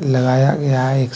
लगाया गया है।